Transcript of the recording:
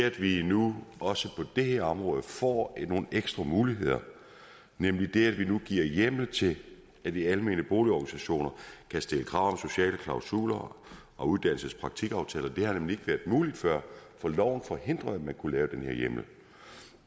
at vi nu også på det her område får nogle ekstra muligheder nemlig ved at vi giver hjemmel til at de almene boligorganisationer kan stille krav om sociale klausuler og uddannelses og praktikaftaler det har nemlig ikke været muligt før for loven forhindrede at man kunne lave den her hjemmel